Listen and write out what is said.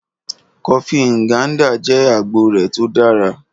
Kọfí Nganda jẹ́ agboo rẹ̀ tó dára.